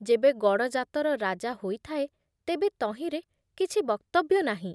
ଯେବେ ଗଡ଼ଜାତର ରାଜା ହୋଇଥାଏ ତେବେ ତହିଁରେ କିଛି ବକ୍ତବ୍ୟ ନାହିଁ ।